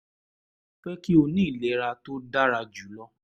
mo fẹ́ kí o ní ìlera tó dára jù lọ